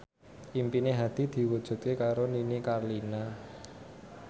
impine Hadi diwujudke karo Nini Carlina